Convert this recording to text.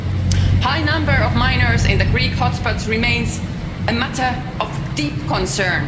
The high number of minors in the Greek hotspots remains a matter of deep concern.